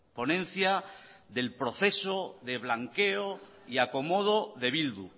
ponencia del proceso de blanqueo y acomodo de bildu